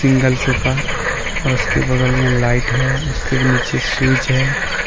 Single sofa और उसके बगल में लाइट है उसके नीचे स्विच है।